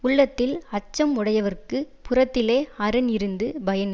உள்ளத்தில் அச்சம் உடையவர்க்குப் புறத்திலே அரண் இருந்து பயன்